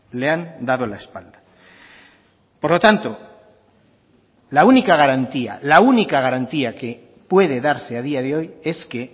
le han dado la espalda por lo tanto la única garantía la única garantía que puede darse a día de hoy es que